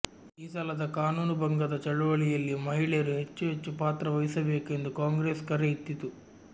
ಈ ಸಲದ ಕಾನೂನು ಭಂಗದ ಚಳುವಳಿಯಲ್ಲಿ ಮಹಿಳೆಯರು ಹೆಚ್ಚು ಹೆಚ್ಚು ಪಾತ್ರ ವಹಿಸಬೇಕೆಂದು ಕಾಂಗ್ರೆಸು ಕರೆ ಇತ್ತಿತು